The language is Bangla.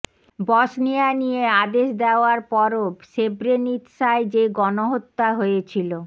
বসনিয়া নিয়ে আদেশ দেওয়ার পরও সেব্রেনিৎসায় যে গণহত্যা হয়েছিল